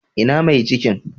Ina mai cikin?